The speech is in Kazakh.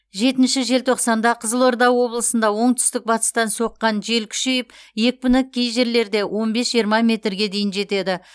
жетінші желтоқсанда қызылорда облысында оңтүстік батыстан соққан жел күшейіп екпіні кей жерлерде он бес жиырма метрге дейін жетеді